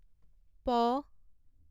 প